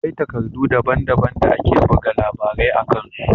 Akwai takardu daban-daban da ake buga labarai a kan su.